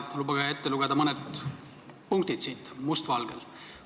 Lubage siit ette lugeda mõned punktid, mis siin must valgel kirjas on.